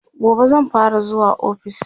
gobe zan fara zuwa ofis